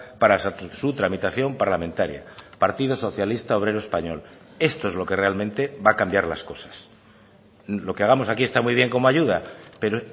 para su tramitación parlamentaria partido socialista obrero español esto es lo que realmente va a cambiar las cosas lo que hagamos aquí está muy bien como ayuda pero